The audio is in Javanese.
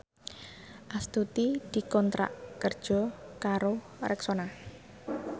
Astuti dikontrak kerja karo Rexona